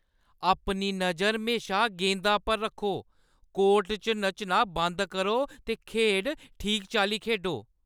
अपनी नजर म्हेशा गेंदा पर रक्खो ! कोर्ट च नच्चना बंद करो ते खेढ ठीक चाल्ली खेढो।